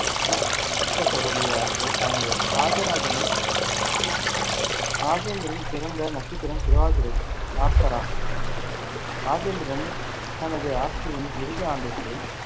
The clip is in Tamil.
மூத்த சகோதரி ஆகியோர் அடங்குவர். ராஜராஜனின் ராஜேந்திரன் பிறந்த நட்சத்திரம் திருவாதிரை ஆர்த்ரா ராஜேந்திரன் தனது ஆட்சியின் இறுதி ஆண்டுகளில்